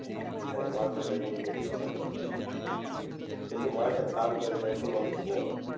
হ্যাঁ এখন মালটা টা খুব হচ্ছে আমাদের দেশে কিন্তু মালটার দামটাও যে এখনও কম।